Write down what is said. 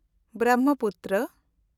Brahmaputra